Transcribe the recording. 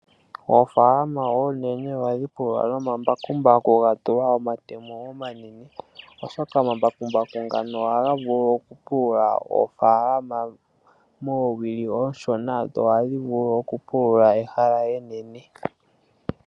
Oofaalama oonene ohadhi pululwa nomambakumbaku ga tulwa omatemo omanene oshoka omambakumbaku ngano ohaga vulu okupulula oofaalama oonene muule woowili oonshona.